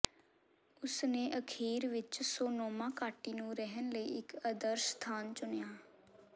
ਉਸ ਨੇ ਅਖੀਰ ਵਿੱਚ ਸੋਨੋਮਾ ਘਾਟੀ ਨੂੰ ਰਹਿਣ ਲਈ ਇੱਕ ਆਦਰਸ਼ ਸਥਾਨ ਚੁਣਿਆ